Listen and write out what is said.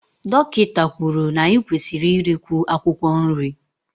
Dọkịta kwuru na anyị kwesịrị irikwu akwụkwọ nri